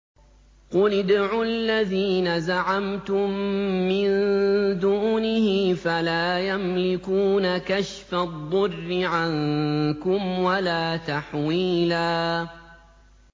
قُلِ ادْعُوا الَّذِينَ زَعَمْتُم مِّن دُونِهِ فَلَا يَمْلِكُونَ كَشْفَ الضُّرِّ عَنكُمْ وَلَا تَحْوِيلًا